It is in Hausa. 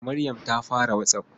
Maryam ta fara WhatsApp.